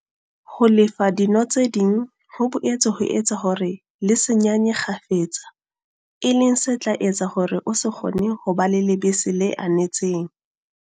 Ho lefa dino tse ding ho boetse ho etsa hore le se nyanye kgafetsa, e leng se tla etsa hore o se kgone ho ba le lebese le anetseng.